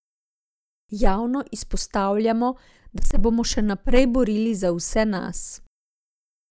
Javno izpostavljamo, da se bomo še naprej borili za vse nas.